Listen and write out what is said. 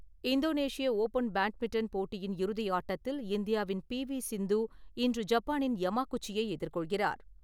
இந்தோனேஷிய open badminton போட்டியின் இறுதி ஆட்டத்தில் இந்தியாவின் பி வி சிந்து, இன்று ஜப்பானின் யமா குச்சியை எதிர்கொள்கிறார்.